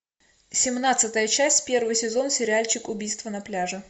семнадцатая часть первый сезон сериальчик убийство на пляже